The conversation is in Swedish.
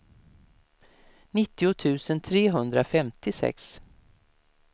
nittio tusen trehundrafemtiosex